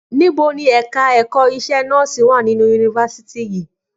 Níbo ni ẹ̀ka ẹ̀kọ́ iṣẹ́ nọ́ọ̀sì wà nínú yunifásítì yìí?